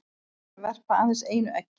Fýlar verpa aðeins einu eggi.